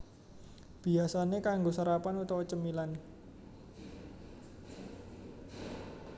Biyasané kanggo sarapan utawa cemilan